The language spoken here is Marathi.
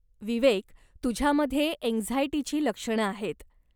विवेक, तुझ्यामध्ये अँक्झाइटीची लक्षणं आहेत.